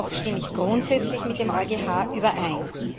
Jedoch stimme ich grundsätzlich mit dem EuGH überein.